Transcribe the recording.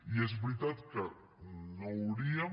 i és veritat que no hauríem